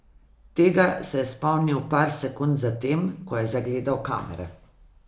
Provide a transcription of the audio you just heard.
Tega se je spomnil par sekund za tem, ko je zagledal kamere.